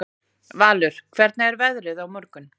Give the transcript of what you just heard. Valur, hvernig er veðrið á morgun?